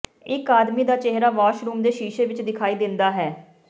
ਇੱਕ ਆਦਮੀ ਦਾ ਚਿਹਰਾ ਵਾਸ਼ਰੂਮ ਦੇ ਸ਼ੀਸ਼ੇ ਵਿੱਚ ਦਿਖਾਈ ਦਿੰਦਾ ਹੈ